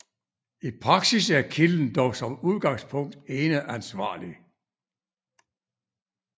I praksis er kilden dog som udgangspunkt eneansvarlig